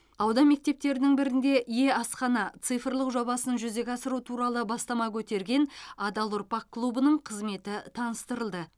аудан мектептерінің бірінде е асхана цифрлық жобасын жүзеге асыру туралы бастама көтерген адал ұрпақ клубының қызметі таныстырылды